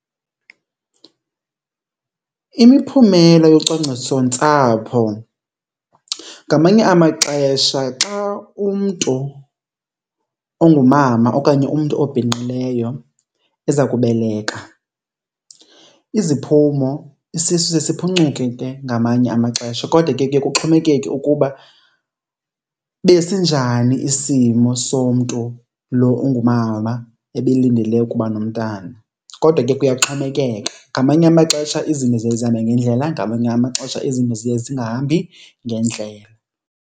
Imiphumelo yocwangcisontsapho, ngamanye amaxesha xa umntu ongumama okanye umntu obhinqileyo eza kubeleka iziphumo isisu siye siphucuke ke ngamanye amaxesha kodwa ke kuye kuxhomekeke ukuba besinjani isimo somntu lo ongumama ebelindele ukuba nomntana. Kodwa ke kuyaxhomekeka, ngamanye amaxesha izinto ziye zihambe ngendlela ngamanye amaxesha izinto ziye zingahambi ngendlela.